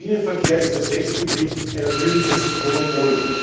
Der Schienenverkehr ist als Netzbetrieb ein natürliches Monopol.